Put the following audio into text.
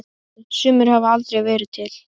Sumir hafa aldrei verið til.